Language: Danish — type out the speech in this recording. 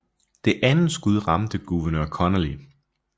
Det andet skud ramte guvernør Connally